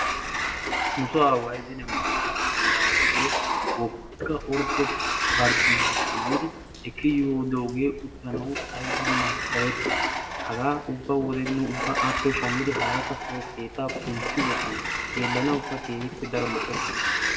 nu soo aaway zine markkato giyappe wogga ordde barccuma shammidi ekki yidooge uttanaw ayba macha'etti hagaa ubba wode nu appe shammidi harakka soon keetta kuntti wottana xeellanawukka keehippe daro lo''ees.